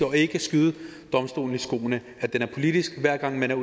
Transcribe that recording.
og ikke skyde domstolen i skoene at den er politisk hver gang man er